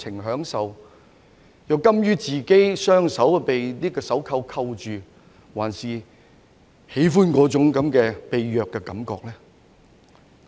卻甘於讓自己的雙手被手銬銬着，還是他們喜歡那種被虐的感覺？